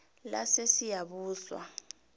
lasesiyabuswa